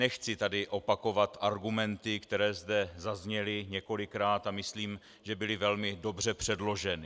Nechci tady opakovat argumenty, které zde zazněly několikrát, a myslím, že byly velmi dobře předloženy.